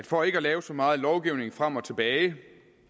for ikke at lave så meget lovgivning frem og tilbage